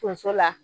Tonso la